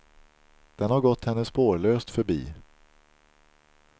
Den har gått henne spårlöst förbi.